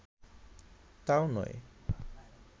তাও নয়